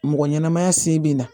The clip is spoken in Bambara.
Mɔgɔ ɲɛnamaya sen be na